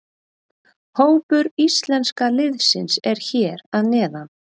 Hópur íslenska liðsins er hér að neðan.